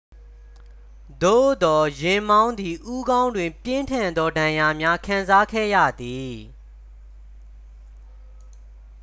သို့သော် ယာဉ်မောင်းသည် ဦးခေါင်းတွင် ပြင်းထန်သော ဒဏ်ရာများ ခံစားခဲ့ရသည်